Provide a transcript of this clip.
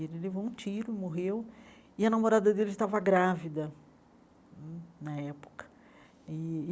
Ele levou um tiro, morreu, e a namorada dele estava grávida hum na época e.